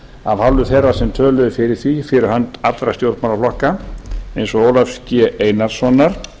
af hálfu þeirra sem töluðu fyrir því fyrir hönd allra stjórnmálaflokka eins og ólafs g einarssonar